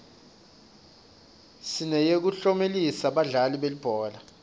sineyekuklomelisa badlali belibhola